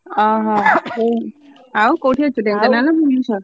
ଅହ ଆଉ କୋଉଠି ଅଛୁ, ଢେଙ୍କାନାଳ ନା ଭୁବନେଶ୍ବର?